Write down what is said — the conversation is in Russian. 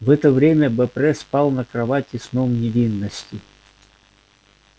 в это время бопре спал на кровати сном невинности